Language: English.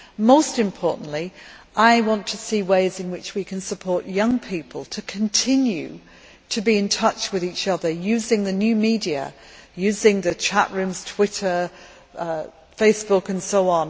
Most importantly, I want to see ways in which we can support young people to continue to be in touch with each other using the new media, using the chat rooms, Twitter, Facebook and so on.